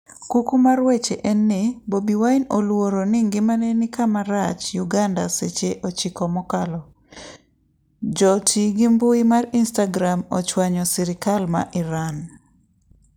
Kuku mar wach en ni Bobi Wine oluoro ni ngimane ni kama rach' Uganda Seche 9 mokalo. Joti gi mbui mar Instagram ochwanyo sirkal ma Iran